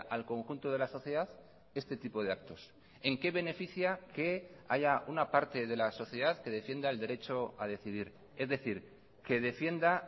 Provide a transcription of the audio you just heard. al conjunto de la sociedad este tipo de actos en qué beneficia que haya una parte de la sociedad que defienda el derecho a decidir es decir que defienda